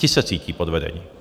Ti se cítí podvedení.